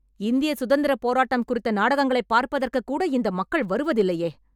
இந்திய சுதந்திரப் போராட்டம் குறித்த நாடகங்களை பார்ப்பதற்கு கூட இந்த மக்கள் வருவதில்லையே